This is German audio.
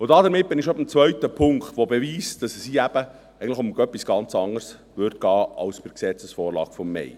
» Damit bin ich schon beim zweiten Punkt, der beweist, dass es hier eben um etwas ganz anders gehen würde, als bei der Gesetzesvorlage vom Mai.